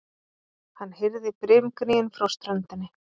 Hann heyrði brimgnýinn frá ströndinni.